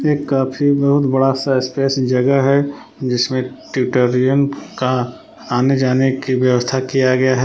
ये काफी बहुत बड़ासा स्पेस जगह है जिसमें का आने जाने की व्यवस्था किया गया है।